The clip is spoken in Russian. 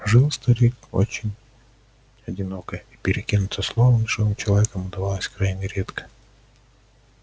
жил старик очень одиноко и перекинуться словом с живым человеком удавалось крайне редко